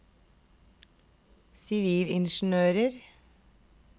sivilingeniører